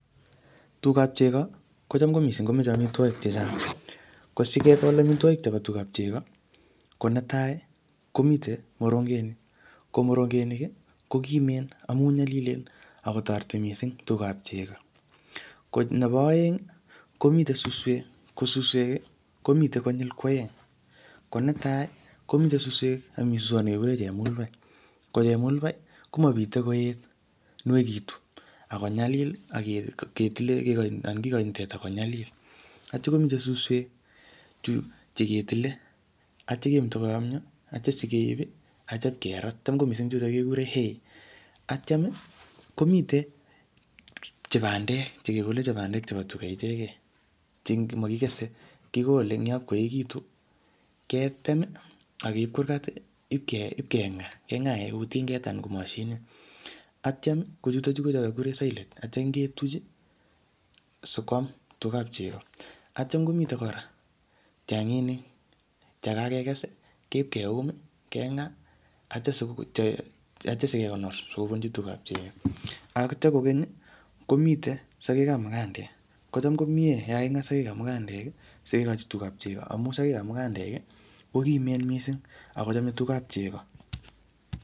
tugab chego kochom ko mising komoche omitwogik chechang, asingol omitwogik chebo tugab chego konetai komiten morengenik, morongenik iih kogimeen ago nyolilen ak kotoreti mising tugab chego, nebo oeng iih komiten susweek, ko susweek iih komiten konyiil kwoeng ko netai komiten susweek ak komii suswoot negegureen chepngulbai ko chepngulbai komobite koet nuegitu ak konyaliil ak kigoi teta konyaliil atyo komiten susweek chegetile atyo kemoto koyomyo atya nyageiib iih acham keraat acham chuto kegureen hay aatyaam iih kobandeek chegegole ko bandeek ichegeen che mogigese kigole ngoob koegitun ketem iih ak keiib kurgaat iih ib kengaa kengaeen tingeet anan ko moshinit atyaam choton kegureen sillage atiin ketuuch iih sikwaam tugaab chego, atyaam komiten koraa chenginik chegageges iih keib keuum iih kengaa atyo sigegonor sigobunchi tugaab chego, atyo kogeny komiten sogeek ab magandeek ko chaam komyee yaan kagingaa sogeek ab magandeek iih sigigichi tugaab chego amuun sogeek ab magandeek iih kogimeen mising ak kochome tugab chego.